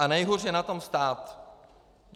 A nejhůř je na tom stát.